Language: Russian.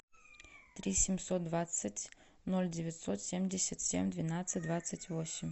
три семьсот двадцать ноль девятьсот семьдесят семь двенадцать двадцать восемь